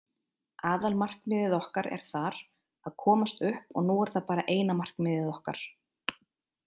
Aðalmarkmiðið okkar er þar, að komast upp og nú er það bara eina markmiðið okkar.